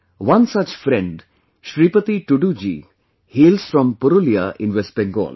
One such friend Shripati Tudu ji hails from Purulia in West Bengal